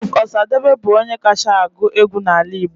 Chief Osadebe bụ onye kacha agụ egwu n'ala Igbo